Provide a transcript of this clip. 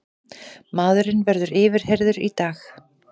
Maðurinn verður yfirheyrður í dag